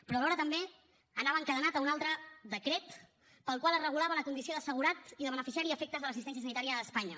però alhora també anava encadenat a un altre decret pel qual es regulava la condició d’assegurat i de beneficiari a efectes de l’assistència sanitària a espanya